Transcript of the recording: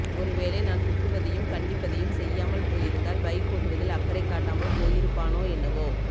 ஒருவேளை நான் திட்டுவதையும் கண்டிப்பதையும் செய்யாமல் போயிருந்தால் பைக் ஒட்டுவதில் அக்கறை காட்டாமல் போயிருப்பானோ என்னவோ